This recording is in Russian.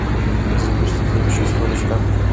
запусти фильм с чистого листа